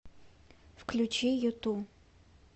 включи юту